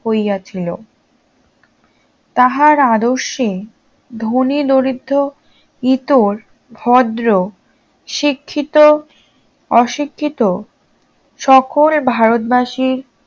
হইয়াছিল তাহার আদর্শে ধনী দরিদ্র ইতর ভদ্র শিক্ষিত অশিক্ষিত সকল ভারতবাসীর